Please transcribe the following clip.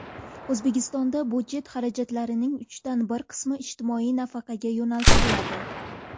O‘zbekistonda budjet xarajatlarining uchdan bir qismi ijtimoiy nafaqaga yo‘naltiriladi.